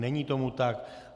Není tomu tak.